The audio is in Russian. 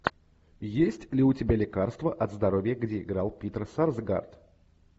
есть ли у тебя лекарство от здоровья где играл питер сарсгаард